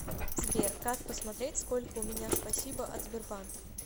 сбер как посмотреть сколько у меня спасибо от сбербанк